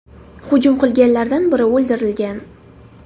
Hujum qilganlardan biri o‘ldirilgan.